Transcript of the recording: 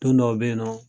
Don dɔw bɛ yen nɔ